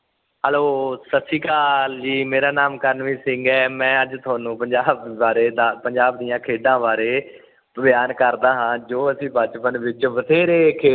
hello ਸਤਿ ਸ਼੍ਰੀ ਆਕਲ ਜੀ ਮੇਰਾ ਨਾਮ ਕਰਨਵੀਰ ਸਿੰਘ ਹੈ ਮੈ ਅੱਜ ਤੁਹਾਨੂੰ ਪੰਜਾਬ ਦੇ ਬਾਰੇ ਪੰਜਾਬ ਦੀਆ ਖੇਡਾਂ ਬਿਆਨ ਕਰਦਾ ਹਾ ਜੋ ਅਸੀਂ ਬਚਪਨ ਵਿਚ ਬਥੇਰੇ ਖੇਡ